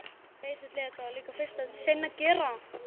Dóttir hennar er Marta nemi.